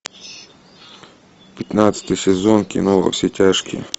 пятнадцатый сезон кино во все тяжкие